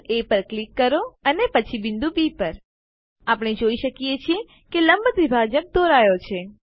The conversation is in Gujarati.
બિંદુ એ પર ક્લિક કરો અને પછી બિંદુ બી પર આપણે જોઈ શકીએ છીએ કે લંબ દ્વિભાજક દોરાયો છે